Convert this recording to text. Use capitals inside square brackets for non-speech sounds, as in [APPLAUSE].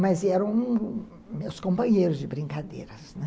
Mas eram [UNINTELLIGIBLE] meus companheiros de brincadeiras, né.